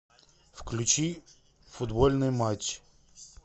включи футбольный матч